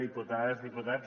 diputades diputats